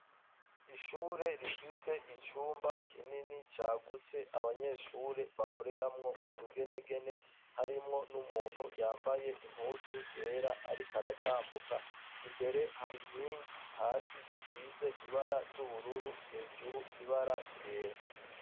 Ishure rifise icumba kinini cagutse abanyeshure bakoreramwo utugenegene harimwo n'umuntu yambaye impuzu yera ariko aratambuka. Imbere hari nkingi hasi zisize ibara ry'ubururu hejuru ibara ryera.